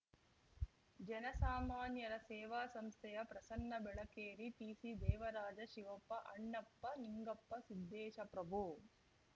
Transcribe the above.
ಜನ ಸಾಮಾನ್ಯರ ಸೇವಾ ಸಂಸ್ಥೆಯ ಪ್ರಸನ್ನಬೆಳಕೇರಿ ಟಿಸಿದೇವರಾಜ ಶಿವಪ್ಪ ಅಣ್ಣಪ್ಪ ನಿಂಗಪ್ಪ ಸಿದ್ದೇಶ ಪ್ರಭು